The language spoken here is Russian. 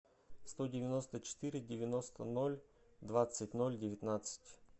сто девяносто четыре девяносто ноль двадцать ноль девятнадцать